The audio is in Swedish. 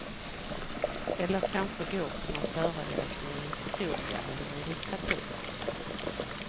Eller kanske gå på någon föreläsning i historia, eller i litteratur.